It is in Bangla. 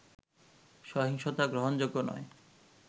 সহিংসতা গ্রহণযোগ্য নয়